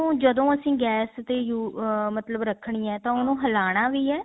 ਜਦੋਂ ਅਸੀਂ ਗੈਸ ਤੇ ਅਹ ਮਤਲਬ ਰੱਖਣੀ ਹੈ ਤਾਂ ਉਹਨੂੰ ਹਿਲਾਣਾ ਵੀ ਹੈ